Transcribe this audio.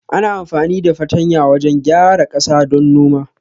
Ana amfani da fartanya wajan gyara ƙasa don noma